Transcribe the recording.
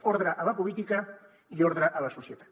ordre a la política i ordre a la societat